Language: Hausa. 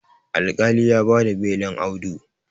alƙali ya ba da belin Audu